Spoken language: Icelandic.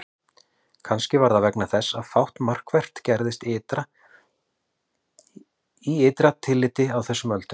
Kannski var það vegna þess að fátt markvert gerðist í ytra tilliti á þessum öldum.